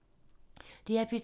DR P2